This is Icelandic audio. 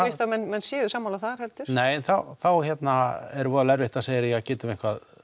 víst að menn menn séu sammála þar heldur já þá er voðalega erfitt að segja heyrðu getum við